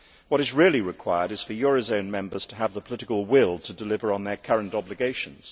What is really required is for eurozone members to have the political will to deliver on their current obligations.